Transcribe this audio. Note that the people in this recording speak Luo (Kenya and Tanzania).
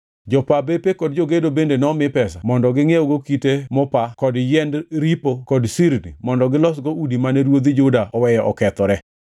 Jopa bepe kod jogedo bende nomi pesa mondo gingʼiewgo kite mopa kod yiend ripo kod sirni mondo gilosgo udi mane ruodhi Juda oweyo okethore.